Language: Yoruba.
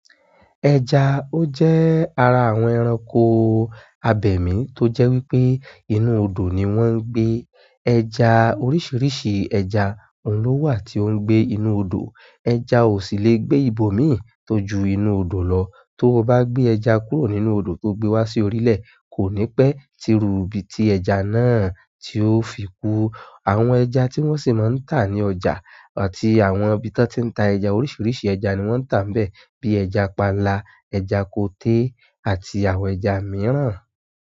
Ẹja ó jẹ́ ara àwọn ẹranko abẹ̀mí tó jẹ́ wípé inú odò ni wón ń gbé. Ẹja oríṣiríṣi ẹja ni ó wà tí ó ń gbé inú odò. Ẹja ò sì lè gbé ibòmíì tó ju inú odò lọ. Tó o bá gbé ẹja kúrò nínú odò tó gbe wá sí orílẹ̀, kò ní pẹ́ tíru ibi tí ẹja náà tí ó fi kú. Àwọn ẹja tí wón sì máa ń tà ní ọjà àti àwọn ibi tó ti ń ta ẹja, oríṣiríṣi ẹja ni wọ́n ń tà níbẹ̀ bíi ẹja panla, ẹja koté àti àwọn ẹja mìíràn.